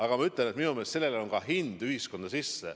Aga ma ütlen, et minu meelest on sellel hind kogu ühiskonnas.